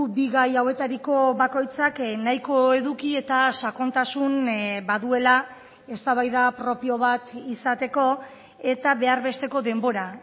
bi gai hauetariko bakoitzak nahiko eduki eta sakontasun baduela eztabaida propio bat izateko eta behar besteko denbora